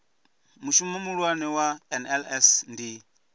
mushumo muhulwane wa nls ndi